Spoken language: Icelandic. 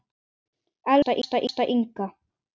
Elsku besta Inga.